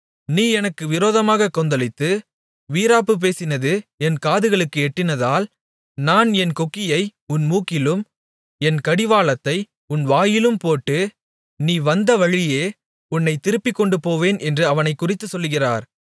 நீ எனக்கு விரோதமாகக் கொந்தளித்து வீராப்பு பேசினது என் காதுகளுக்கு எட்டினதால் நான் என் கொக்கியை உன் மூக்கிலும் என் கடிவாளத்தை உன் வாயிலும் போட்டு நீ வந்தவழியே உன்னைத் திருப்பிக்கொண்டுபோவேன் என்று அவனைக்குறித்துச் சொல்லுகிறார்